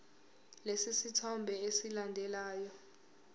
lesi sithombe esilandelayo